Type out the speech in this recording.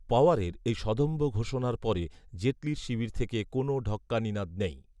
পওয়ারের এই সদম্ভ ঘোষণার পরে জেটলির শিবির থেকে কোনও ঢক্কানিনাদ নেই